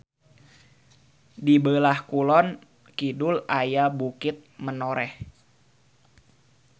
Di beulah kulon kidul aya Bukit Menoreh.